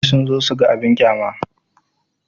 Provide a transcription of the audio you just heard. Mutane sun zo su ga abin ƙyama.